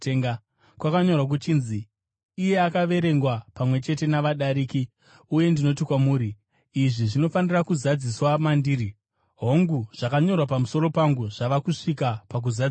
Kwakanyorwa kuchinzi, ‘Akaverengwa pamwe chete navadariki’ uye ndinoti kwamuri, izvi zvinofanira kuzadziswa mandiri. Hongu, zvakanyorwa pamusoro pangu zvava kusvika pakuzadziswa.”